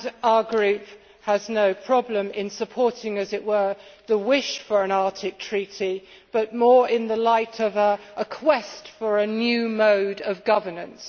Our group has no problem in supporting the wish for an Arctic treaty, but more in the light of a quest for a new mode of governance.